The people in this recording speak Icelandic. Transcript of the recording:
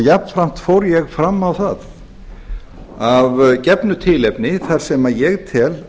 jafnframt fór ég fram á það að gefnu tilefni þar sem ég tel